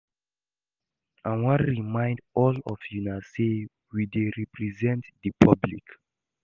I wan remind all of una say we dey represent the public